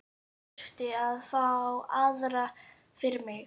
Ég þurfti að fá aðra fyrir mig.